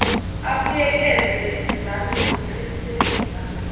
abuyekeze izinzame zokuqinisekisa